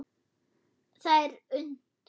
Það er unnt.